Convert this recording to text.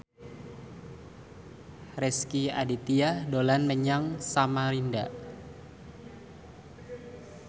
Rezky Aditya dolan menyang Samarinda